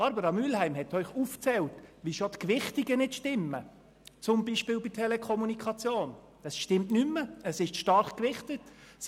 Barbara Mühlheim hat aufgezeigt, dass schon die Gewichtungen nicht stimmen, beispielsweise bei der Telekommunikation, die zu stark gewichtet wird.